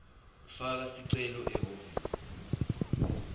faka sicelo ehhovisi